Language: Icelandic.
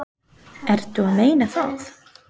Ertu að meina það?